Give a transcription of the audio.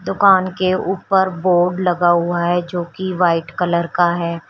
दुकान के ऊपर बोर्ड लगा हुआ है जो कि वाइट कलर का है।